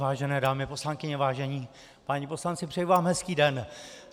Vážené dámy poslankyně, vážení páni poslanci, přeju vám hezký den.